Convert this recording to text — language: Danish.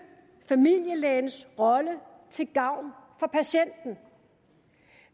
familielægens rolle til gavn for patienten